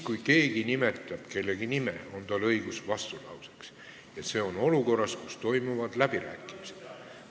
Kui keegi nimetab kellegi nime, siis on sellel inimesel õigus vastulauseks, ja see on nii olukorras, kus toimuvad läbirääkimised.